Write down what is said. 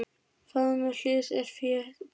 Faðmur hlýs er fé betri.